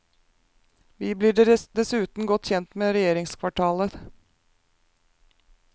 Vi blir dessuten godt kjent med regjeringskvartalet.